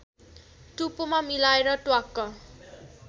टुप्पोमा मिलाएर ट्वाक्क